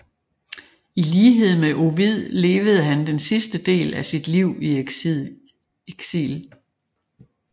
I lighed med Ovid levede han den sidste del af sit liv i eksil